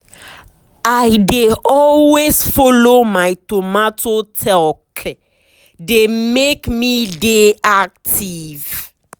i dey always follow my tomato talke dey make me dey active.